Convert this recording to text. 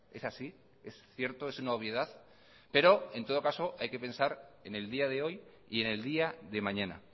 es así es cierto es una obviedad pero en todo caso hay que pensar en el día de hoy y en el día de mañana